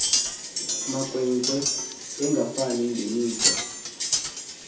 makhwenkwe engafani ngemikhwa